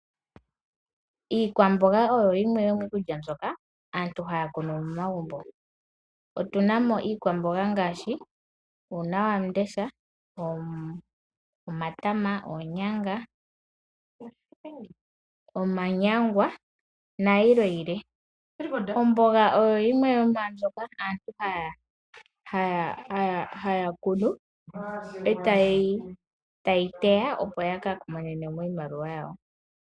Iikwamboga oyo yimwe yomiikulya mbyoka aantu haya kunu momagumbo otuna mo iikwamboga ngashi uunawamundesha, omatama, oonyanga, omanyangwa nayilwe yilwe. Omboga oyo yimwe yomwa mbyoka aantu haya kunu, etaye yi teya opo yakamone iimaliwa yawo.